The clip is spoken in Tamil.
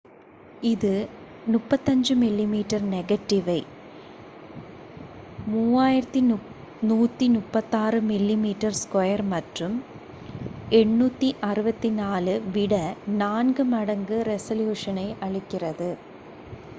இது 35 mm நெகட்டிவை3136 mm2 மற்றும் 864 விட நான்கு மடங்கு ரெசலூசனை அளிக்கிறது